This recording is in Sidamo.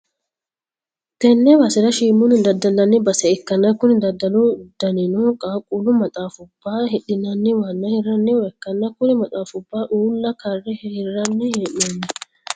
tenne basera shiimunni daddallanni base ikkanna, kuni daddalu danino qaaqqullu maxaafubba hidhi'nanniwanna hirranniwa ikkanna, kuri maxaafubbano uulla karre hirranni hee'noonni.